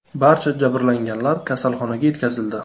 Barcha jabrlanganlar kasalxonalarga yetkazildi.